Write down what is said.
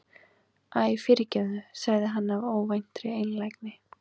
Æ, fyrirgefðu- sagði hann af óvæntri einlægni.